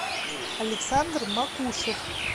александр макушев